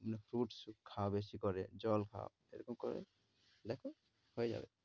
মানে fruits খাও বেশি করে, জল খাও। এরকম করো দেখ, হয়ে যেবে।